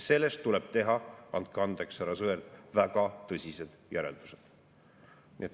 Sellest tuleb teha – andke andeks, härra Sõerd – väga tõsised järeldused.